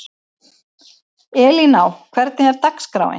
Elíná, hvernig er dagskráin?